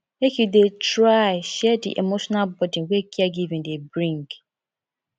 make you dey try share di emotional burden wey caregiving dey bring